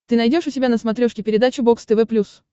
ты найдешь у себя на смотрешке передачу бокс тв плюс